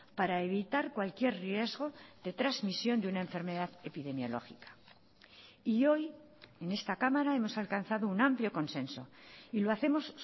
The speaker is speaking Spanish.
para evitar cualquier riesgo de transmisión de una enfermedad epidemiológica y hoy en esta cámara hemos alcanzado un amplio consenso y lo hacemos